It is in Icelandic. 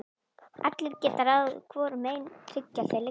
Allir geta ráðið hvorum megin hryggjar þeir liggja.